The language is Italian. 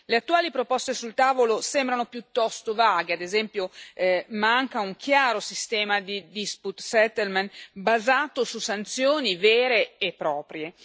Le attuali proposte sul tavolo sembrano piuttosto vaghe, ad esempio manca un chiaro sistema di dispute settlement basato su sanzioni vere e proprie.